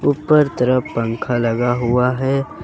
ऊपर तरफ पंख लगा हुआ है।